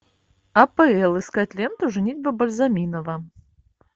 апл искать ленту женитьба бальзаминова